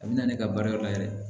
A bɛ na ne ka baarayɔrɔ la yɛrɛ